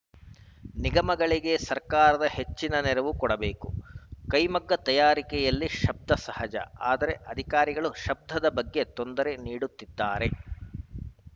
ನಿಗಮಗಳಿಗೆ ಸರ್ಕಾರ ಹೆಚ್ಚಿನ ನೆರವು ಕೊಡಬೇಕು ಕೈಮಗ್ಗ ತಯಾರಿಕೆಯಲ್ಲಿ ಶಬ್ದ ಸಹಜ ಆದರೆ ಅಧಿಕಾರಿಗಳು ಶಬ್ದದ ಬಗ್ಗೆ ತೊಂದರೆ ನೀಡುತ್ತಿದ್ದಾರೆ